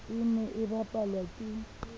e ne e bapalwa ke